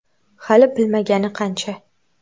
Hali bilmagani qancha.